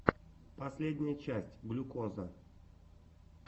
последняя часть глюкоза